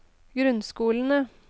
grunnskolene